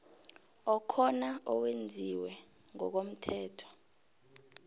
okhona owenziwe ngokomthetho